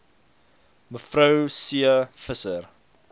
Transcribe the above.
me c visser